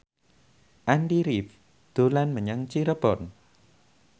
Andy rif dolan menyang Cirebon